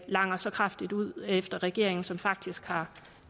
langer så kraftigt ud efter regeringen som faktisk har